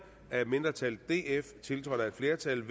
af et mindretal tiltrådt af et flertal